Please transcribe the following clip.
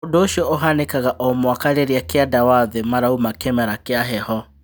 ũndũ ũcio ũhanĩkaga o mwaka rĩrĩa kĩanda wa thĩ marauma kĩmera kĩa heho.